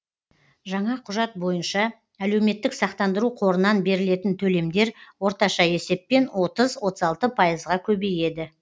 жаңа құжат бойынша әлеуметтік сақтандыру қорынан берілетін төлемдер орташа есеппен отыз отыз алты пайызға көбейеді